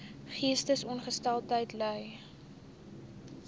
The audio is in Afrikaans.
geestesongesteldheid ly